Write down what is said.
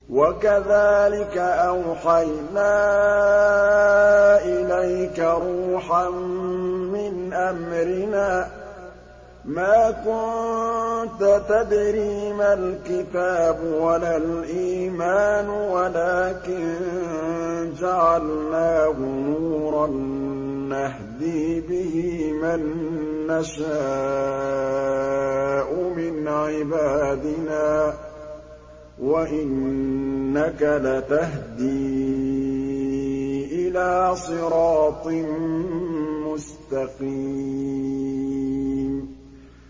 وَكَذَٰلِكَ أَوْحَيْنَا إِلَيْكَ رُوحًا مِّنْ أَمْرِنَا ۚ مَا كُنتَ تَدْرِي مَا الْكِتَابُ وَلَا الْإِيمَانُ وَلَٰكِن جَعَلْنَاهُ نُورًا نَّهْدِي بِهِ مَن نَّشَاءُ مِنْ عِبَادِنَا ۚ وَإِنَّكَ لَتَهْدِي إِلَىٰ صِرَاطٍ مُّسْتَقِيمٍ